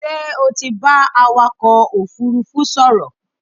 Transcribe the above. Ṣé o ti bá awakọ̀ òfúrúfú sọ̀rọ̀?